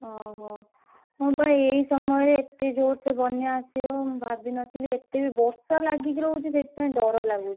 ଓହୋ ହଁ ବା ଏଇ ସମୟରେ ଏତେ ଜୋରସେ ବନ୍ୟା ଆସିବ ମୁଁ ଭାବିନଥିଲି ଏତେ ବି ବର୍ଷା ଲାଗିକୀ ରହୁଛି ସେଇଥିପାଇଁକି ଡର ଲାଗୁଛି।